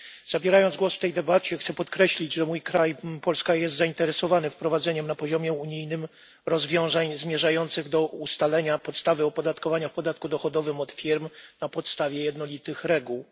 Zabierając głos w tej debacie chcę podkreślić, że mój kraj, Polska, jest zainteresowany wprowadzeniem na poziomie unijnym rozwiązań zmierzających do ustalenia podstawy opodatkowania w podatku dochodowym od firm na podstawie jednolitych reguł.